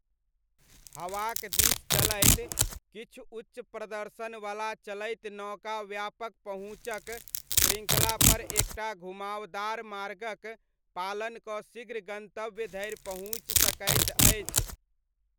हवाक दिस चलैत, किछु उच्च प्रदर्शनवला चलैत नौका व्यापक पहुँचक श्रृङ्खलापर एक टा घुमावदार मार्गक पालन कऽ शीघ्र गन्तव्य धरि पहुँचि सकैत अछि।